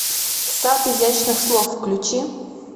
сад изящных слов включи